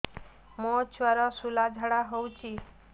ମୋ ଛୁଆର ସୁଳା ଝାଡ଼ା ହଉଚି